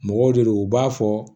Mɔgɔw de don u b'a fɔ